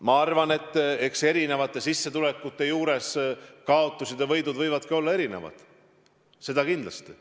Ma arvan, et erinevate sissetulekute korral kaotused ja võidud võivadki olla erinevad – seda kindlasti.